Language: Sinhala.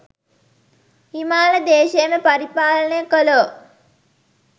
හිමාල දේශයම පරිපාලනය කළෝ,